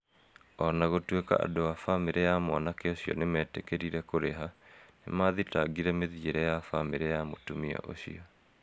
O na gũtuĩka andũ a bamĩrĩ ya mwanake ũcio nĩ metĩkĩrie kũrĩha, nĩ mathitangĩre mĩthiĩre ya bamĩrĩ ya mũtumia ũcio.